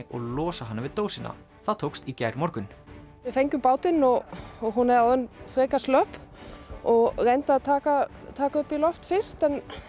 og losa hana við dósina það tókst í gærmorgun við fengum bátinn og hún er orðin frekar slöpp og reyndi að taka taka á loft fyrst